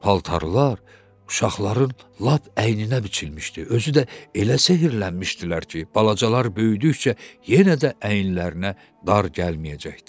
Paltarlar uşaqların lap əyninə biçilmişdi, özü də elə sehrlənmişdilər ki, balacalar böyüdükcə yenə də əyinlərinə dar gəlməyəcəkdi.